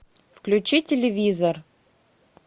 включи телевизор